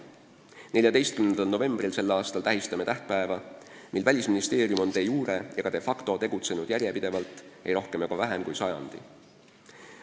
Tänavu 14. novembril me tähistame toredat tähtpäeva: Välisministeerium on de jure ja de facto tegutsenud järjepidevalt ei rohkem ega vähem kui sajandi.